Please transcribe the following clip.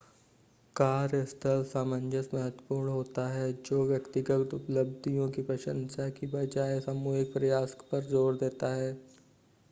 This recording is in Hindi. कार्यस्थल सामंजस्य महत्वपूर्ण होता है जो व्यक्तिगत उपलब्धियों की प्रशंसा की बजाय सामूहिक प्रयास पर ज़ोर देता है